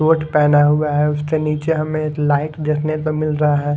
Coat पहना हुआ है उसके नीचे हमें एक लाइट देखने को मिल रहा है।